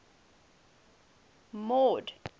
mord